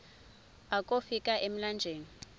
akofi ka emlanjeni